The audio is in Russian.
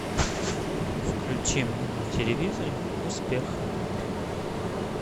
включи мне на телевизоре успех